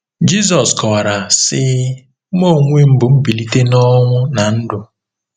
Jizọs kọwara, sị: “ Mụ onwe m bụ mbilite nọnwụ na ndụ.